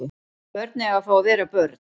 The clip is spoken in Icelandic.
Börn eiga að fá að vera börn